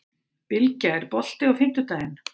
Bylgja, er bolti á fimmtudaginn?